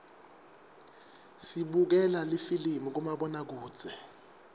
sibukela lifilimi kumabonakudze